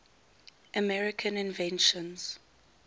american inventions